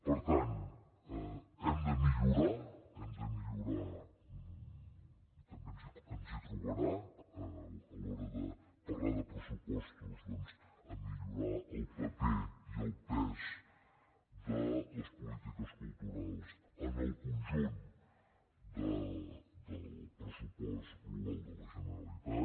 per tant hem de millorar hem de millorar també ens hi trobarà a l’hora de parlar de pressupostos doncs a millorar el paper i el pes de les polítiques culturals en el conjunt del pressupost global de la generalitat